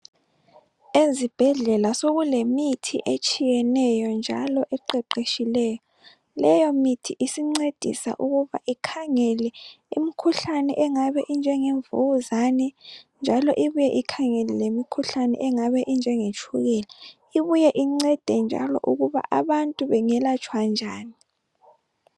Ezibhedlela sokulemithi etshiyeneyo njalo eqeqeshileyo .Leyo mithi isincedisa ukuba Ikhangele imikhuhlane engabe injengemvukuzane .Njalo ibuye Ikhangele lemikhuhlane engabe injengetshukela ibuye incede njalo ukuba abantu bengelatshwa njani.